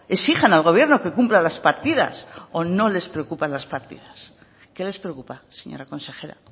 exijan al gobierno que cumpla las partidas o no les preocupan las partidas qué les preocupa señora consejera